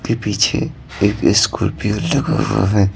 के पीछे एक स्कॉर्पियो लगा हुआ है।